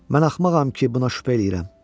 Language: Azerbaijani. Mən axmağam ki, buna şübhə eləyirəm.